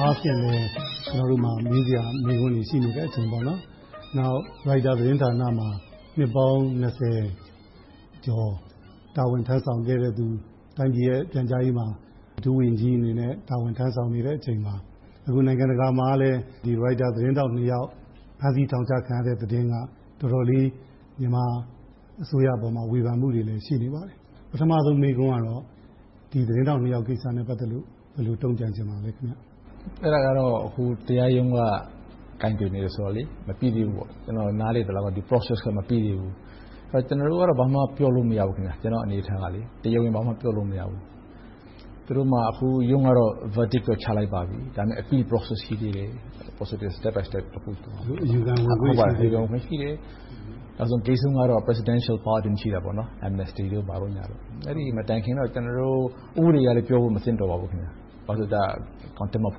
အားဖြင့်လဲ ကျနော်တို့မှာ မေးစရာ မေးခွန်းတွေရှိတဲ့ အခြေအနေပါ။ နောက် Retuers သတင်းဌာနမှာ နှစ်ပေါင်း ကျော် တာဝန်ထမ်းဆောင်ခဲ့သူ။ အခု ပြန်ကြားရေးဝန်ကြီးဌာနမှာ ဒုဝန်ကြီးအဖြစ် တာဝန်ထမ်းဆောင်နေတဲ့အချိန်မှာ အခု နိုင်ငံတကာမှာလည်း Reuters သတင်းထောက်နှစ်ယောက် ဖမ်းဆီးထောင်ချခံရတဲ့သတင်းက တော်တော်လေး မြန်မာအစိုးရပေါ်မှာ ဝေဖန်မှုတွေလည်း ရှိနေပါတယ်။ ပထမဦးဆုံး မေးခွန်ကတော့ ဒီသတင်းထောက်နှစ်ယောက်ကိစ္စနဲ့ ပတ်သက်လို့ ဘယ်လိုတုံ့ပြန်ချင်ပါလဲ။ အဲဒါကတော့ အခု တရားရုံးက ကိုင်တွယ်နေတော့ မပြီသေးဘူးပေါ့။ ကျနော် နားလည်သလောက် Process က မပြီသေးဘူး။ ကျနော်တို့ကတော့ ဘာမှပြောလို့ မရဘူး။ ကျနော်အနေအထားက တရားဝင် ဘာမှပြောလို့မရဘူး။ သူတို့က အခုရုံးကတော့ Verdict ချလိုက်ပါပြီ။ ဒါပေမဲ့ Appeal process ရှိသေးတယ်။ အယူခံဝင်ခွင့် ရှိသေးတယ်။ ဂိတ်ဆုံးကတော့ Presidential pardon ရှိတယ်။ Amensty တို့ဘာတို့ - အဲဒီမတိုင်ခင် ကျနော်တို့အနေနဲ့ ဥပဒေအရလည်းပြောဖို့ မသင့်တော်ပါဘူး။ -- ဘာမှ မပြောတာ ကောင်းပါတယ်။ ဒ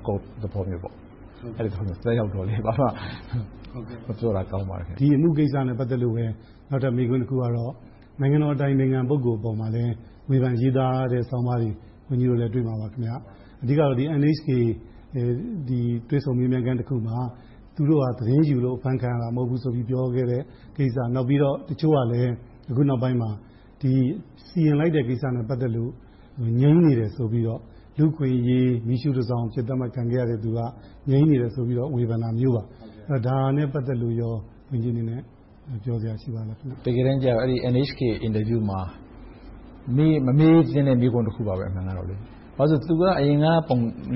ီအမှုကိစ္စနဲ့ ပတ်သက်လို့ပဲ နောက်ထပ်မေးခွန်းတခုကတော့ နိုင်ငံတော်အတိုင်ပင်ခံ ပုဂ္ဂိုလ်ပေါ်မှာလည်း ဝေဖန်ရေးသားတဲ့ ဆောင်းပါးတွေကို ဝန်ကြီးတို့လည်း တွေ့မှာပါ။ အဓိကတော့ NHK တွေ့ဆုံမေးမြန်းခန်းတခုမှာ သူတို့ဟာ သတင်းယူလို့ အဖမ်းခံရတာ မဟုတ်ဘူးဆိုပြီး ပြောခဲ့တဲ့ကိစ္စ။ နောက်ပြီးတော့ တချို့ကလဲ အခုနောက်ပိုင်းမှာ စီရင်လိုက်တဲ့ကိစ္စနဲ့ ပတ်သက်လို့ မြုံနေတယ်ဆိုပြီးတော့ လူ့အခွင့်အရေး မီးရှူးတစောင်လို့ သတ်မှတ်ခံခဲ့ရသူက မြုံနေတယ်ဆိုပြီးတော့ ဝေဖန်တာမျိုးပါ။ ဒါနဲ့ ပတ်သက်လို့ ဝန်ကြီးအနေနဲ့ ပြောစရာရှိပါလား။ တကယ်တမ်းကြတော့ NHK အင်တာဗျူးမှာ မမေးသင့်တဲ့ မေးခွန်းတခုပါ။ ဘာဖြစ်လို့လဲဆိုတော့ သူက အရင်က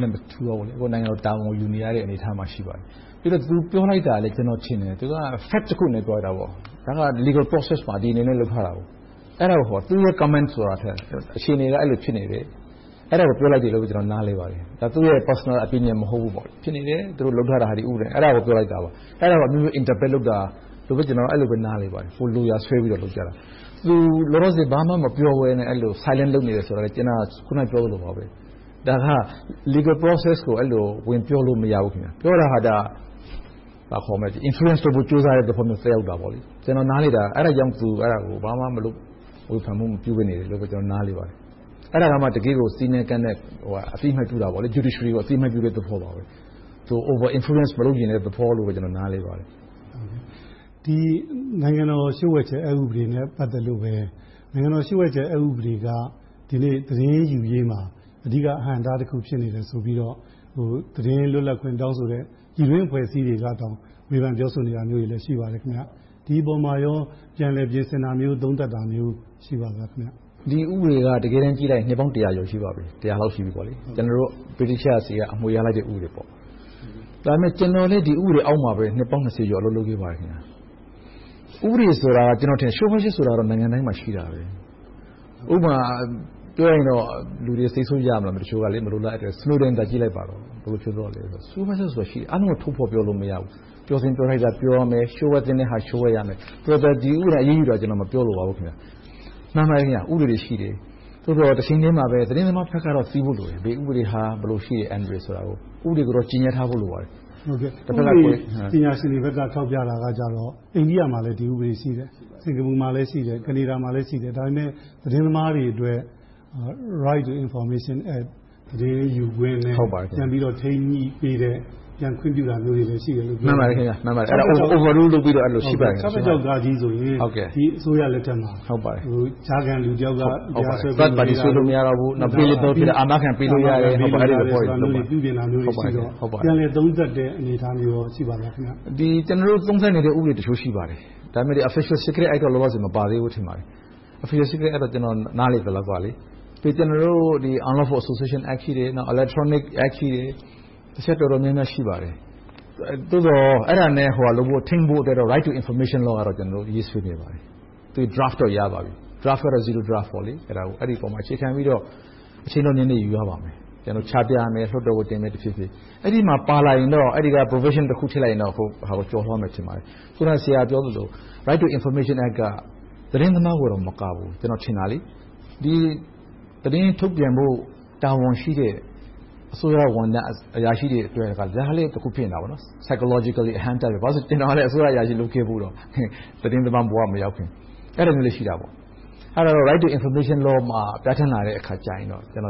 နဲ့မတူတော့ဘူး၊ အခုက နိုင်ငံတော်တာဝန်ကို ယူနေရတဲ့ အနေအထားမှာ ရှိပါတယ်။ ပြီးတော့ သူပြောလိုက်တာလဲ ကျနော်ထင်တယ် သူက Fact တခုအနေနဲ့ ပြောလိုက်တာ ဒါက Legal process မှာ ဒီအနေနဲ့ လုပ်ထားတာ။ အဲဒါ သူ့ရဲ့ Comment ဆိုတာထက် အခြေအနေက အဲဒီလိုဖြစ်နေတယ်။ အဲဒါကို ပြောလိုက်တာလို့ ကျနော် နားလည်ပါတယ်။ သူ့ရဲ့ Personal opinion မဟုတ်ဘူး။ ဖြစ်နေတယ်၊ အဲဒါ သူတို့ လုပ်ထားတာ ဒီဥပဒေနဲ့ဆိုပြီး ပြောလိုက်တာ ဖြစ်ပါတယ်။ အဲဒါကို အမျိုးမျိုး Interpret လုပ်တာလို့ အဲဒီလိုပဲ နားလည်ပါတယ်။ ကိုယ်လိုရာဆွဲပြီးတော့ လုပ်ကြတာ။ သူ လောလောဆယ် ဘာမှမပြောဘဲနဲ့ Silence လုပ်နေတယ်ဆိုတာ ကျနော် အခုနပြောသလိုပဲ ဒါက Legal process အဲဒီလို ဝင်ပြောလို့ မရဘူး။ ပြောတာဟာ Influence လုပ်ဖို့ ကြိုးစားတဲ့သဘော သက်ရောက်တာပေါ့။ ကျနော် နားလည်တာ အဲဒါကြောင့် အဲဒါကို ဘာမှမလုပ်၊ ဝေဖန်မှု မပြုဘဲ နေတယ်လို့ ကျနော် နားလည်ပါတယ်။ အဲဒါကမှ တကယ့်ကို စည်းးနဲ့ကမ်းနဲ့ အသိအမှတ်ပြုတာ Judiciary ကို အသိအမှတ်ပြုတဲ့သဘောပါ။ Over influence မလုပ်ချင်တဲ့သဘောလို့ ကျနော် နားလည်ပါတယ်။ ဒီ နိုင်ငံတော်လျှို့ဝှက်ချက် ဥပဒေနဲ့ ပတ်သက်လို့ပဲ နိုင်ငံတော်လျှို့ဝှက်ချက်ဥပဒေက ဒီနေ့ သတင်းယူရေးမှာ အဓိက အဟန့်အတားတခု ဖြစ်နေတယ်ဆိုပြီးတော့ သတင်းလွတ်လပ်ခွင့် တောင်းဆိုနေတဲ့ ပြည်တွင်းအဖွဲ့အစည်းတွေကတောင် ဝေဖန်ပြောဆိုနေတာမျိုးတွေလည်း ရှိပါတယ်။ ဒီအပေါ်မှာ ပြန်လည်ပြင်ဆင်တာမျိုး၊ သုံးသပ်တာမျိုး ရှိပါလား။ ဒီဥပဒေက တကယ်တမ်း ကြည့်လိုက်ရင် နှစ်ပေါင်း တစ်ရာကျော် ရှိပါပြီ။ ကျနော်တို့ ဗြိတိသျှဆီက အမွေရလိုက်တဲ့ ဥပဒေပါ။ ဒါပေမဲ့ ကျနော်လည်း ဒီဥပဒေအောက်မှာပဲ နှစ်ပေါင်း ကျော် အလုပ်လုပ်ခဲ့ပါတယ်။ ဥပဒေဆိုတာ လျှို့ဝှက်ချက်ဆိုတာ နိုင်ငံတိုင်း ရှိပါတယ်။ ဥပမာပြောရင် လူတွေ စိတ်ဆိုးကြမလား - တချို့က Snowden သာ ကြည့်လိုက်ပါတော့ - လျှို့ဝှက်ချက်ဆိုတာရှိတယ် - အားလုံးကို ထုတ်ဖော်ပြောလို့ မရဘူး။ ပြောသင့်ပြောထိုက်တာ ပြောရမယ်။ လျှို့ဝှက်သင့်တာ လျှို့ဝှက်ရမယ်။ ဒီဥပဒေနဲ့ အရေးယူတာကို မပြောလိုပါဘူး။ ဥပဒေတွေရှိတယ်။ တချိန်တည်းမှာ သတင်းသမားဘက်က သိဖို့လိုတယ်။ ဘယ်ဥပဒေက ဘယ်လို အန္တရာယ်ရှိတယ်ဆိုတာ။ ဥပဒေကို ကြေညှက်ထားဖို့ လိုပါတယ်။ ဥပဒေပညာရှင်တွေဘက်က ထောက်ပြတာကတော့ အိန္ဒိယမှာလည်း ဒီဥပဒေ ရှိတယ်။ စင်္ကာပူမှာလည်း ရှိတယ်။ ကနေဒါမှာလည်း ရှိတယ်။ ဒါပေမဲ့ သတင်းသမားတွေအတွက် Right to information act သတင်းယူခွင့်နဲ့ ပြန်ပြီးတော့ ထိန်းညှိပေးတဲ့ ခွင့်ပြုတာမျိုးတွေလည်း ရှိတယ်လို့ ပြောပါတယ်။ မှန်ပါတယ်။ Over rule လုပ်တာမျိုးတွေ ရှိပါတယ်။ ၆၆ ဆိုရင် ဒီအစိုးရလက်ထက်မှာ ကြားခံလူတယောက် တရားစွဲလို့… ပြန်လည်သုံးသပ်တဲ့ အနေအထားမျိုး ရှိပါသလား။ ကျနော်တို့ သုံးသပ်နေတဲ့ ဥပဒေတချို့ ရှိပါတယ်။ ဒါပေမဲ့ Official secret law တော့ မပါသေးဘူးလို့ ထင်ပါတယ်။ Official secret ကတော့ ကျနော် နားလည်သလောက်တော့ Unlawful association act, Electronic act တွေ ရှိတယ်။ သို့သော် အဲဒါနဲ့ထိန်းဖို့ Rights to information law ကတော့ ရေးဆွဲနေပါတယ်။ Draft တော့ ရပါပြီ။ အဲဒီအပေါ် အခြေခံပြီးတော့ အချိန်တော့ နည်းနည်းယူရပါမယ်။ ကျနော်တို့ ချပြမယ်။ လွှတ်တော်ကိုတင်မယ်။ အဲဒီမှာပါလာရင်တော့ Provision တခု ထည့်လိုက်ရင်တော့ အဲဒါကို ကျော်လွှာသွားမယ်လို့ ထင်ပါတယ်။ အခုန ဆရာပြောသလို Right to information က သတင်းသမားတောင်မကဘူး။ ကျနော်ထင်တာ သတင်းထုတ်ပြန်ဖို့ တာဝန်ရှိတဲ့ အစိုးရဝန်ထမ်းအရာရှိတွေအတွက်လည်း Pyschologically အဟန့်အတားတခု ဖြစ်နေတယ်။ ဘာဖြစ်လို့လဲဆိုတော့ ကျနော်က အစိုးရအရာရှိလည်း လုပ်ခဲ့ဖူးတော့ သတင်းသမားဘဝမရောက်ခင် အဲဒီလိုမျိုးလည်း ရှိတယ်။ အဲဒီတော့ Right to information law ကို ပြဌာန်းလာတဲ့အခါ အဲ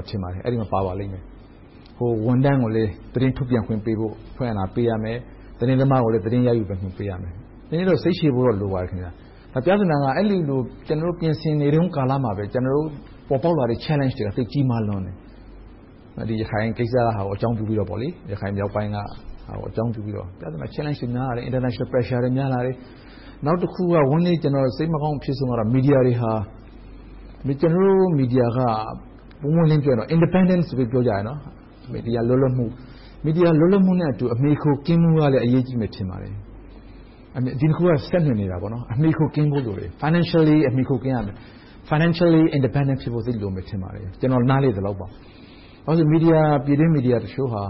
ဒီမှာ ပါပါလိမ့်မယ်။ ဝန်ထမ်းကိုလည်း သတင်းထုတ်ပြန်ခွင့်ပေးရမယ်။ သတင်းသမားကိုလည်း သတင်းရယူခွင့် ပေးရမယ်။ နည်းနည်းတော့ စိတ်ရှည်ဖို့တော့ လိုပါတယ်။ ပြောချင်တာက အဲဒီလို ကျနော်တို့ ပြင်ဆင်နေတုန်းကလာမှာပဲ ပေါ်ပေါက်လာတဲ့ Challenges တွေက သိပ်ကြီးမားလွန်တယ်။ ရခိုင်ကိစ္စကို အကြောင်းပြုပြီးတော့ ရခိုင်မြောက်ပိုင်းက အခြေအနေကို အကြောင်းပြုပြီးတော့ Challenges, International pressure တွေ များလာတယ်။ နောက်တခုက ဝမ်းနည်းစရာ၊ စိတ်မကောင်း အဖြစ်ဆုံးကတော့ ကျနော်တို့ မီဒီယာက ပွင့်ပွင့်လင်းလင်းပြောရင် Independence လို့ ပြောကြတယ်။ မီဒီယာလွတ်လပ်မှုနဲ့အတူ အမှီအခိုကင်းမဲ့မှုကလည်း အရေးကြီးမယ် ထင်ပါတယ်။ ဒီနှစ်ခုက ဆက်နွယ်နေတယ်။ အမှီအခိုကင်းဖို့လိုတယ်။ Financially အမှီအခိုကင်းရမယ်။ Financially independence ဖြစ်ဖို့ သိပ်လိုမယ် ထင်ပါတယ်။ ကျနော် နားလည်သလောက် ပြည်တွင်းမီဒီယာတချို့ဟာ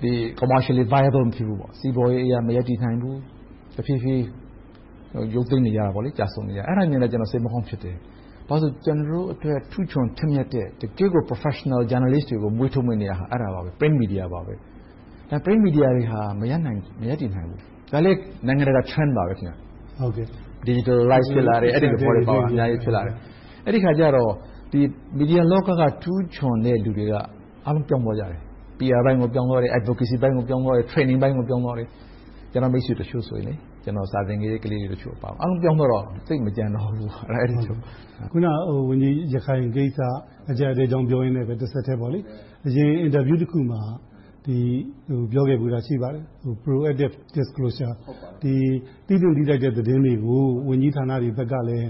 စီးပွားရေးအရ မရပ်တည်နိုင်ဘူး။ တဖြည်းဖြည်းရုတ်သိမ်းနေကြတယ်။ အဲဒါမျိုးလည်း ကျနော် စိတ်မကောင်းဖြစ်တယ်။ ဘာဖြစ်လို့လဲဆိုတော့ ကျနော်တို့အတွက် ထူးချွန်ထက်မြက်တဲ့ တကယ့်ကို Professional journalists တွေကို မွေးထုတ်မယ့်နေရာက အဲဒီ Pen media ပါ။ ဒါပေမဲ့ Pen media တွေက မရပ်တည်နိုင်ဘူး။ ဒါလဲ နိုင်ငံတကာ Challenge ပါ။ အဲဒီအခါကြတော့ မီဒီယာလောက က ထူးချွန်တဲ့လူတွေက အားလုံးပြောင်းသွားကြတယ်။ PR line ကို ပြောင်းသွားတယ်။ Advocacy ပိုင်းကို ပြောင်းသွားတယ်။ Training ပိုင်းကို ပြောင်းသွားတယ်။ ကျနော် မိတ်ဆွေတချို့ ကျနော် စာသင်ပေးခဲ့တဲ့ ကလေးတွေအပါအဝင် အားလုံးပြောင်းသွားတော့ သိပ်မကျန်တော့ဘူး။ အခုန ဝန်ကြီးပြောသွားတဲ့ ရခိုင်ကိစ္စ အကျပ်အတည်း ပြောရင်နဲ့ တဆက်ထဲ အရင်အင်တာဗျူးတခုမှာ ဒီလို ပြောခဲ့ဖူးတာ ရှိပါတယ်။ Proactive disclosure သိသင့်သိထိုက်တဲ့ သတင်းတွေကို ဝန်ကြီးဌာနတွေဘက်ကလည်း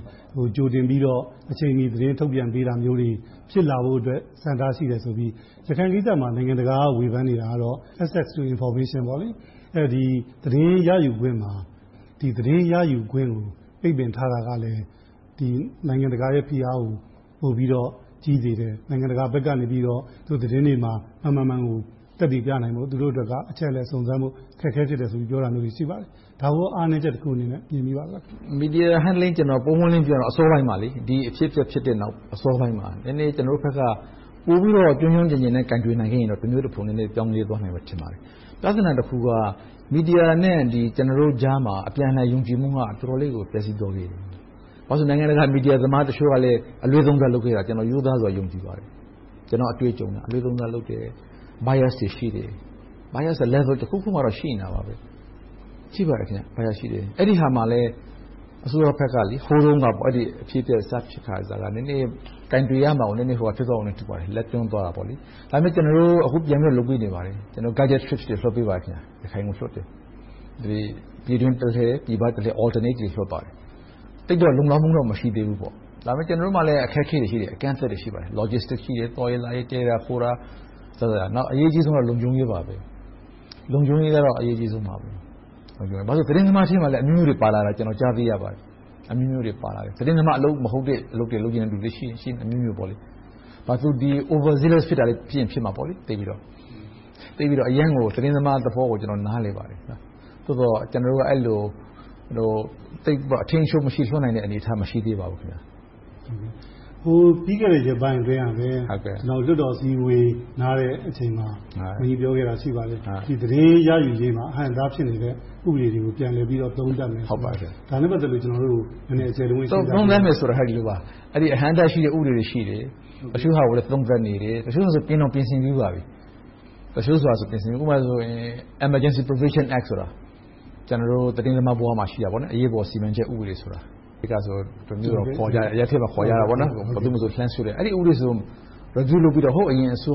ကြိုတင်ပြီးတော့ အချိန်ယူ သတင်းထုတ်ပြန်တာမျိုးတွေ ဖြစ်လာဖို့အတွက် ဆန္ဒရှိတယ်ဆိုပြီး ရခိုင်ကိစ္စမှာ နိုင်ငံတကာက ဝေဖန်နေတာကတော့ Access တို့ Information ပေါ့။ သတင်းရယူခွင့်မှာ သတင်းရယူခွင့်ကို ပိတ်ပင်ထားတာကလည်း နိုင်ငံတကာရဲ့ ဖိအားကို ပိုပြီးတော့ ကြီးစေတယ်။ နိုင်ငံတကာဘက်က သတင်းတွေမှာ မှန်မှန်ကန်ကန် သက်သေပြနိုင်ဖို့အတွက် သူတို့ဘက်က အချက်အလက်စုံစမ်းဖို့ အခက်အခဲဖြစ်တယ်ဆိုပြီးတော့ သူတို့ဘက်က ပြောတာမျိုးတွေ ရှိပါတယ်။ ဒါကိုကော အားနည်းချက်တခုလို့ မြင်ပါလား။ မီဒီယာ Handling ကို ပွင့်ပွင့်လင်းလင်း ပြောရမယ်ဆိုရင် ဒီအဖြစ်အပျက်ဖြစ်ပြီး အစောပိုင်းမှာ နည်းနည်းကျနော်တို့ဘက်က ပိုပြီးတော့ ကျွမ်းကျွမ်းကျင်ကျင်နဲ့ ကိုင်တွယ်နိုင်ခဲ့ရင် တမျိုးတဖုံ ပြောင်းလဲသွားနိုင်မယ်လို့ ထင်ပါတယ်။ ပြဿနာတခုက မီဒီယာနဲ့ ကျနော်တို့ကြားမှာ အပြန်အလှန် ယုံကြည်မှုက တော်တော်လေးကို ပျက်ဆီးသွားခဲ့ပြီ။ ဘာဖြစ်လို့လဲဆိုတော့ နိုင်ငံတကာ မီဒီယာသမားတချို့ကလည်း အလွဲသုံးစားလုပ်ခဲ့တာ ကျနော် ရိုးသားစွာ ယုံကြည်ပါတယ်။ ကျနော့်အတွေ့အကြုံအရ အလွဲသုံးစားလုပ်ခဲ့တယ်။ Bias တွေ ရှိတယ်။ Bias တွေက Level တခုခုမှာ ရှိနေတယ်။ အဲဒီဟာမှာ အစိုးရဘက်က အဲဒီအဖြစ်အပျက် စဖြစ်ခါစက နည်းနည်း ကိုင်တွယ်ရမှာကို နည်းနည်းလက်တွန့်သွားခဲ့တယ်။ ဒါပေမဲ့ အခု ကျနော်တို့ ပြန်ပြီးတော့ လုပ်ပေးနေပါတယ်။ ကျနော်တို့ ရခိုင်ကိုလွှတ်တယ်။ ပြည်တွင်းတလှည့်၊ ပြည်ပတလှည့် Alternative လွှတ်ပါတယ်။ သိပ်တော့လုံလောက်မှုတော့ မရှိသေးပါဘူး။ ဒါပေမဲ့ ကျနော်တို့မှာလည်း အခက်အခဲတွေ အကန့်အသတ်တွေ ရှိတယ်။ Logistics ရှိတယ်။ သွားရေးလာရေး၊ တည်ခိုတာ အစစအရာရာ။ အရေးကြီးဆုံးက လုံခြုံရေး ဖြစ်ပါတယ်။ လုံခြုံရေးကတော့ အရေးကြီးဆုံးပါ။ ဘာဖြစ်လို့လဲဆိုတော့ သတင်းသမားထဲမှာလည်း အမျိုးမျိုးပါလာတာကို ကြားသိရပါတယ်။ သတင်းသမားအလုပ် မဟုတ်တဲ့ လုပ်ချင်တဲ့လူလည်း ရှိချင်ရှိမယ်။ သူတို့ Overzealous ဖြစ်ချင်လည်း ဖြစ်မှာပေါ့။ သိပ်ပြီးတော့ သတင်းသမားသဘောကို ကျနော် နားလည်ပါတယ်။ သို့သော် ကျနော်တို့က သိပ်ကို အထိန်းအချုပ်မရှိ လွှတ်နိုင်တဲ့ အနေအထား မရှိသေးပါဘူး။ ပြီးခဲ့တဲ့ ရက်ပိုင်းအတွင်းကလည်း လွှတ်တော်အစည်းအဝေး နားတဲ့အချိန်မှာ ဝန်ကြီးပြောခဲ့တာ ရှိပါတယ်။ သတင်းရယူရေးမှာ အဟန့်အတား ဖြစ်နေတဲ့ ဥပဒေတွေကို ပြန်လည်ပြီးတော့ သုံးသပ်မယ်ဆိုပြီးတော့ - ဒါနဲ့ပတ်သက်ပြီးတော့ ကျနော်တို့ကို အကျယ်တဝင့် ရှင်းပြပေးပါ။ သုံးသပ်မယ်ဆိုတာ အဟန့်အတားရှိတဲ့ ဥပဒေတွေ ရှိတယ်။ တချို့ဟာတွေကို သုံးသပ်နေတယ်။ တချို့ဟာတွေဆို ပြင်တောင်ပြင်ဆင်ပြီးပါပြီ။ ဥပမာ Emergency Provisions Act ဆိုတာ ကျနော်တို့ သတင်းသမားဘဝမှာ ရှိခဲ့တဲ့ အရေးပေါ်စီမံချက် ဥပဒေဆိုတာ - အရပ်ထဲမှာတော့ တမျိုးတော့ ခေါ်ကြတယ်။ အဲဒီဥပဒေဆိုရင် ဟိုအရင်အစိုး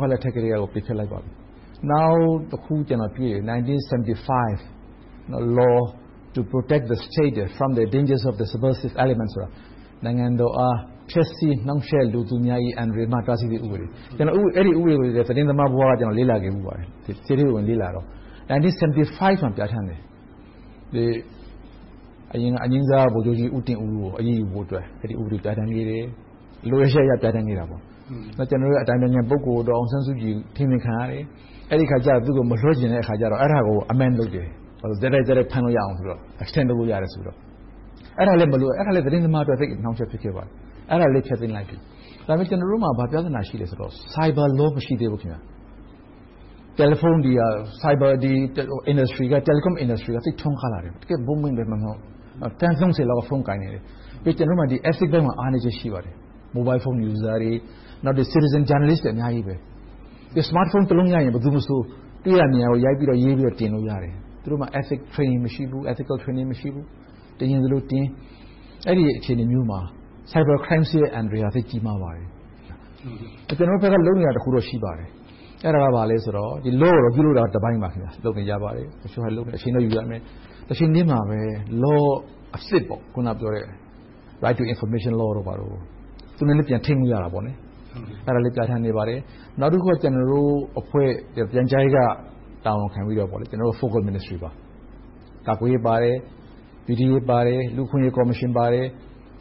ရလက်ထက်ကတည်းက ပိတ်ခဲ့လိုက်ပါပြီ။ နောက်တခုက ၁၉၇၅ the law to protect the state from the danger of subversive elements - နိုင်ငံတော်အား ဖျက်ဆီးနှောင့်ယှက်လိုသူများ၏ အန္တရာယ်မှ တားဆီးရေးဥပဒေ - အဲဒီဥပဒေတွေကို ကျနော် သတင်းသမားဘဝက လေ့လာခဲ့ဖူးပါတယ်။ ထဲထဲဝင်ဝင် လေ့လာခဲ့ပါတယ်။ ၁၉၇၅ မှာ ပြဌာန်းခဲ့တယ်။ အရင်က အငြိမ်းစားဗိုလ်ချုပ်ကြီး ဦးတင်ဦးကို အရေးယူဖို့အတွက် အဲဒီဥပဒေကို ပြဌာန်းခဲ့တယ်။ လိုအပ်ချက်အရ ပြဌာန်းခဲ့တယ်။ ကျနော်တို့ အတိုင်ပင်ခံ ပုဂ္ဂိုလ် ဒေါ်အောင်ဆန်းစုကြည် အထိန်းသိမ်းခံရတယ်။ အဲဒီအခါကြတော့ သူကို မလွှတ်ချင်တဲ့အခါကြတော့ အဲဒါကို Amend လုပ်ခဲ့တယ်။ ဆက်တိုက်ဆက်တိုက် ဖမ်းလို့ရအောင် ဆိုပြီးတော့။ အဲဒါလဲ သတင်းသမားတွေ သိပ်အနှောင့်အယှက် ဖြစ်ခဲ့ပါတယ်။ အဲဒါကိုလည်း ဖျက်သိမ်းလိုက်ပြီ။ ဒါပေမဲ့ ကျနော်တို့မှာ ဘာပြဿနာ ရှိသလဲဆိုတော့ Cyber Law မရှိသေးဘူး။ Cyber Telecom Industry က သိပ်ထွန်းကားလာတယ်။ တကယ့်ကို Booming ဖြစ်လာပြီး သန်း ကျော်လောက် ဖုန်းကိုင်လာတယ်။ ပြီးတော့ ကျနော်တို့မှာ Ethics ပိုင်းမှာ အားနည်းချက် ရှိပါတယ်။ Mobile phone users တွေ၊ နောက် Citizen journalists တွေက အများကြီး ရှိလာတယ်။ Smart phone တလုံးရရင် ဘယ်သူမဆို တွေ့တာမြင်တာကို ရိုက်ပြီးတော့ ရေးပြီးတော့ တင်လို့ရတယ်။ သူတို့မှာ Ethic Training မရှိဘူး။ တင်ချင်သလိုတင် အဲဒီလို အခြေအနေမျိုးမှာ Cyber Crimes ရဲ့ အန္တရာယ်က သိပ်ကြီးမားပါတယ်။ ကျနော်တို့ဘက်က လုပ်နေတာ တခုတော့ ရှိပါတယ်။ အဲဒါက ဘာလဲဆိုတော့ Law ကိုတော့ ပြုလုပ်တာကတပိုင်းပါ။ လုပ်နေကြတယ်။ အချိန်တော့ ယူရမယ်။ တချိန်တည်းမှာပဲ Law အစစ် - အခုနပြောတဲ့ Right to information law တို့နဲ့လည်း ပြန်ထိန်းညှိရတာပေါ့။ အဲဒါလဲ ပြဌာန်းခဲ့ပါတယ်။ နောက်တခုက ကျနော်တို့ ပြန်ကြားရေးက တာဝန်ခံပြီးတော့ Focal Ministry တွေဖြစ်တဲ့ ကာကွယ်ရေး၊ ပြည်ထဲရေး၊ လူ့အခွင့်အရေးကော်မရှင်ပါတယ်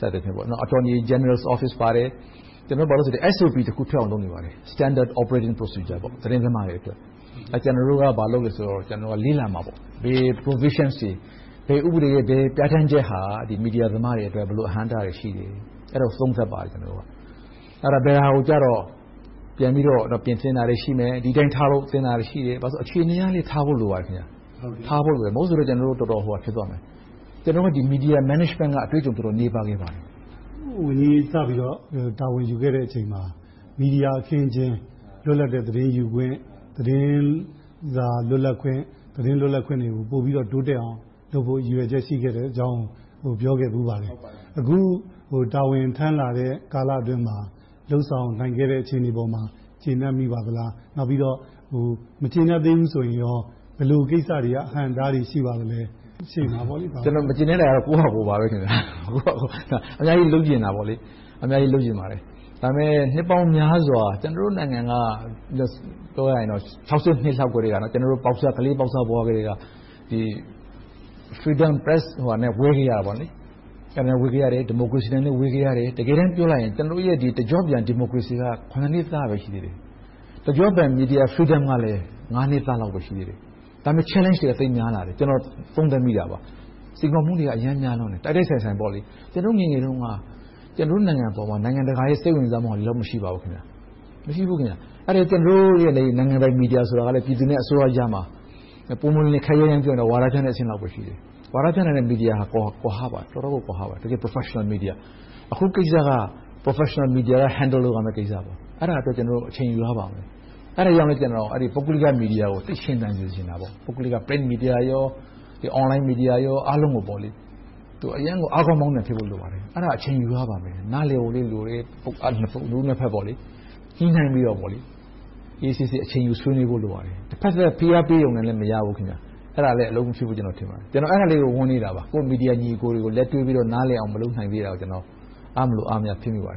စသည်ဖြင့် Attorney General's Office ပါတယ်။ ကျနော်တို့ SOP တခုထွက်အောင် လုပ်နေပါတယ်။ Standard Operation Procedure သတင်းသမားတွေအတွက်။ ကျနော်တို့က ဘာလုပ်လဲဆိုတော့ လေ့လာပါတယ် - ဘယ် Provisions တွေ၊ ဘယ်ဥပဒေရဲ့ ဘယ်ပြဌာန်းချက်ဟာ မီဒီယာသမားတွေအတွက် ဘယ်လိုအဟန့်အတားတွေ ရှိတယ်ဆိုတာကို သုံးသပ်ပါတယ်။ အဲဒါ ဘယ်ဟာကို ပြန်ပြီးတော့ ပြင်ဆင်တာတွေ ရှိမယ်။ ပြင်သင့်တာတွေ ရှိမယ်။ ဒီအတိုင်းထားသင့်တာတွေ ရှိမယ်။ အခြေအနေအရလဲ ထားဖို့လိုပါတယ်။ ဘာဖြစ်လို့လဲဆိုတော့ ကျနော်တို့ တော်တော်ဟိုဟာ ဖြစ်သွားမယ်။ ကျနော်တို့က Media Management က အတွေ့အကြုံ တော်တော်နည်းပါးခဲ့ပါတယ်။ ဝန်ကြီး စပြီးတော့ တာဝန်ယူခဲ့တဲ့အချိန်မှာ မီဒီယာအခင်းအကျင်း၊ လွတ်လပ်တဲ့ သတင်းယူခွင့်၊ သတင်းစာလွတ်လပ်ခွင့်၊ သတင်းလွတ်လပ်ခွင့်တွေကို ပိုပြီးတော့ တိုးတက်အောင်လုပ်ဖို့ ရည်ရွယ်ချက် ရှိခဲ့တယ်ဆိုတဲ့အကြောင်းကို ပြောခဲ့ဖူးပါတယ်။ အခု တာဝန်ထမ်းလာတဲ့ ကာလအတွင်းမှာ လုပ်ဆောင်နိုင်ခဲ့တဲ့အပေါ်မှာ ကျေနပ်ပါရဲ့လား။ နောက်ပြီးတော့ မကျေနပ်သေးဘူးဆိုရင် ဘယ်လိုကိစ္စတွေက အဟန့်အတားတွေ ရှိပါသလဲ။ ကျနော် မကျေနပ်တာတော့ ကိုယ့်ဘာသာကိုယ်ပါ။ အများကြီး လုပ်ချင်တာပေါ့။ ဒါပေမဲ့ နှစ်ပေါင်းများစွာ ကျနော်တို့နိုင်ငံက ၁၉၆၂ လောက်ကနေ ကျနော်တို့ ကလေးပေါက်စဘဝကတည်းက Press Freedom နဲ့ ဝေးခဲ့ရတယ်။ ဒီမိုကရေစီနဲ့ ဝေးခဲ့ရတယ်။ တကယ်တမ်းးပြောရရင် ကျနော်တို့ရဲ့ တကျော့ပြန် ဒီမိုကရေစီက နှစ်သားပဲ ရှိသေးတယ်။ တကျော့ပြန် Media Freedom ကလည်း နှစ်သားလောက်ပဲ ရှိသေးတယ်။ ဒါပေမဲ့ Challenges တွေက သိပ်များတယ်။ ကျနော် သုံးသပ်မိတာပါ။ စိန်ခေါ်မှုတွေက သိပ်များလွန်တယ်။ တိုက်တိုက်ဆိုင်ဆိုင် ကျနော်တို့ ငယ်ငယ်တုန်းက ကျနော်တို့ နိုင်ငံအပေါ် နိုင်ငံတကာရဲ့ စိတ်ဝင်စားမှုက ဒီလောက် မရှိပါဘူး။ ကျနော်တို့ နိုင်ငံပိုင်မီဒီယာဆိုတာကလဲ ပြည်သူနဲ့ အစိုးရကြားမှာ ပွင့်ပွင့်လင်းလင်း ခပ်ရိုင်းရိုင်းပြောရရင် ဝါဒဖြန့်တဲ့အဆင့်လောက်ပဲ ရှိတယ်။ ဝါဒဖြန့်တဲ့ မီဒီယာဟာ တကယ့် Professional media နဲ့ တော်တော်ကို ကွာဟပါတယ်။ အခုကိစ္စက Professional media က Handle လုပ်ရမယ့်ကိစ္စ။ အဲဒါအတွက် ကျနော်တို့ အချိန်ယူရပါမယ်။ အဲဒါကြောင့်လဲ ပုဂ္ဂလိက မီဒီယာကို သိပ်ရှင်သန်စေချင်ပါတယ်။ ပုဂ္ဂလိက Print media နဲ့ Online media အားလုံးကို အရမ်းအားကောင်းမောင်းသန် ဖြစ်စေချင်ပါတယ်။ အဲဒါ အချိန်ယူရပါမယ်။ နားလည်ဖို့လိုတယ်။ နှစ်ဦးနှစ်ဘက် ညှိနှိုင်းပြီးတော့ အေးအေးဆေးဆေး အချိန်ယူဆွေးနွေးဖို့ လိုပါတယ်။ တဘက်သတ် ဖိအားပေးရုံနဲ့ မရဘူး။ အဲဒါလဲ အလုပ်မဖြစ်ဘူးလို့ ထင်ပါတယ်။ ကျနော် အဲဒါလေးကို ဝမ်းနည်းတာပါ - မီဒီယာညီအကိုတွေကို လက်တွဲပြီးတော့ နားလည်အောင် မလုပ်နိုင်သေးတာကို အားမလိုအားမရ ဖြစ်မိပါတယ်